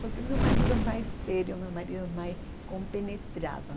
Só que meu marido é mais sério, meu marido é mais compenetrado.